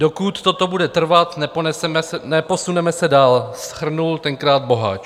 Dokud toto bude trvat, neposuneme se dál," shrnul tenkrát Boháč.